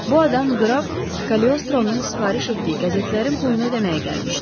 Bu adam qraf Kaliostronun sifariş etdiyi qəzetlərin pulunu ödəməyə gəlmişdi.